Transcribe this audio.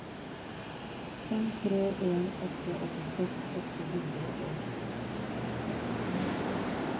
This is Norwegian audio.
fem tre en åtte åttiseks åtte hundre og tjueseks